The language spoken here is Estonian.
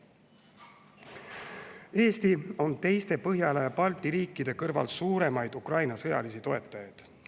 Eesti on teiste Põhjala ja Balti riikide kõrval üks suurimaid Ukraina sõjalisi toetajaid.